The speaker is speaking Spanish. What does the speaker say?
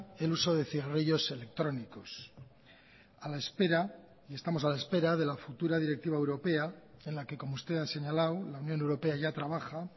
el uso de cigarrillos electrónicos estamos a la espera de la futura directiva europea en la que como usted ha señalado la unión europea ya trabaja